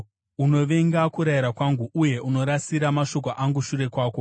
Unovenga kurayira kwangu, uye unorasira mashoko angu shure kwako.